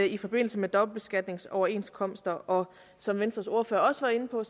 i forbindelse med dobbeltbeskatningsoverenskomster og som venstres ordfører også var inde på